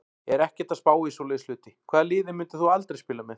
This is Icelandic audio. Er ekkert að spá í svoleiðis hluti Hvaða liði myndir þú aldrei spila með?